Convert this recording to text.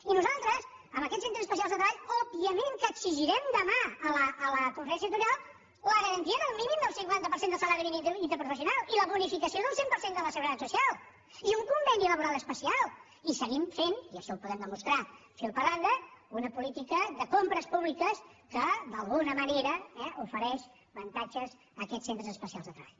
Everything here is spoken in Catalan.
i nosaltres a aquests centres especials de treball òbviament que exigirem demà a la conferència sectorial la garantia del mínim del cinquanta per cent del salari mínim interprofessional i la bonificació del cent per cent de la seguretat social i un conveni laboral especial i seguim fent i això ho podem demostrar fil per randa una política de compres públiques que d’alguna manera ofereix avantatges a aquests centres especials de treball